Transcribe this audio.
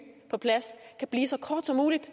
på plads kan blive så kort som muligt